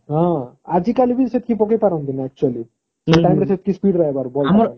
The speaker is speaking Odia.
ହଁ ଆଜି କାଲି ବି ସେତିକି ପକେଇ ପାରନ୍ତିନି actually କାହିଁକି ନ ସେ ସେତିକି speed ରେ ହବାର bowler ର